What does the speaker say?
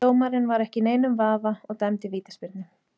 Dómarinn var ekki í neinum vafa og dæmdi vítaspyrnu.